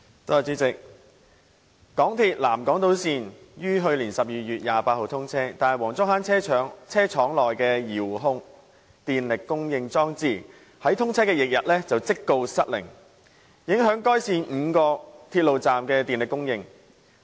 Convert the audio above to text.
主席，港鐵南港島線於去年12月28日通車，但黃竹坑車廠內的遙控電力供應裝置在通車翌日即告失靈，影響該線5個鐵路站的電力供應。